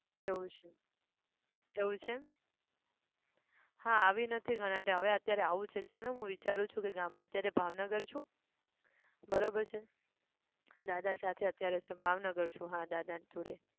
એવું છે એવુંછે! હા આવી નથી ઘણા TIME હવે અત્યારે આવું છે ચલ ને હું વિચારું છું કે હું ગામડે અત્યારે ભાવનગર છું. બરોબર છે દાદા સાથે અત્યારે છે ભાવનગર છું હા દાદા જોડે